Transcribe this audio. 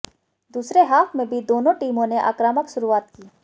दूसरे हाफ में भी दोनों टीमों ने आक्रामक शुरुआत की